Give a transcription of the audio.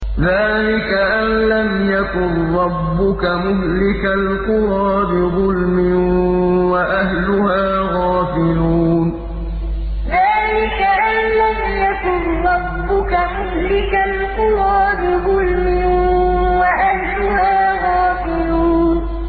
ذَٰلِكَ أَن لَّمْ يَكُن رَّبُّكَ مُهْلِكَ الْقُرَىٰ بِظُلْمٍ وَأَهْلُهَا غَافِلُونَ ذَٰلِكَ أَن لَّمْ يَكُن رَّبُّكَ مُهْلِكَ الْقُرَىٰ بِظُلْمٍ وَأَهْلُهَا غَافِلُونَ